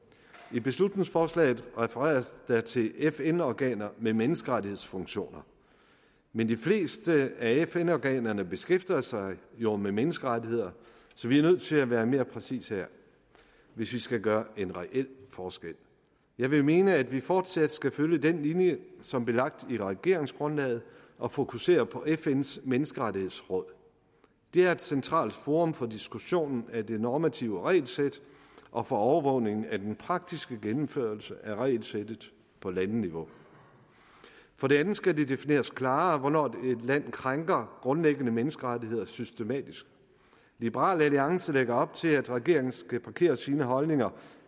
i beslutningsforslaget refereres der til fn organer med menneskerettighedsfunktioner men de fleste af fn organerne beskæftiger sig jo med menneskerettigheder så vi er nødt til at være mere præcise her hvis vi skal gøre en reel forskel jeg vil mene at vi fortsat skal følge den linje som blev lagt i regeringsgrundlaget og fokusere på fns menneskerettighedsråd det er et centralt forum for diskussionen af det normative regelsæt og for overvågning af den praktiske gennemførelse af regelsættet på landeniveau for det andet skal det defineres klarere hvornår et land krænker grundlæggende menneskerettigheder systematisk liberal alliance lægger op til at regeringen skal parkere sine holdninger